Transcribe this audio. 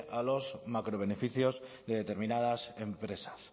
a los macrobeneficios de determinadas empresas